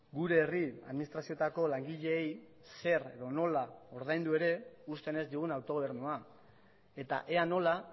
gure herri administrazioetako langileei zer edo nola ordaindu ere uzten ez digun autogobernua eta ea nola